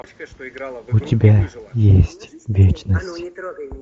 у тебя есть вечность